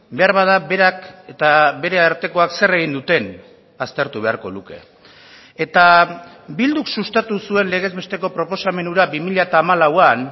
beharbada berak eta bere artekoak zer egin duten aztertu beharko luke eta bilduk sustatu zuen legez besteko proposamen hura bi mila hamalauan